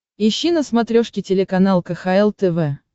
ищи на смотрешке телеканал кхл тв